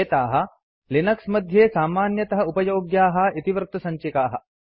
एताः लिनक्स मध्ये सामान्यतः उपयोग्याः इतिवृत्तसञ्चिकाः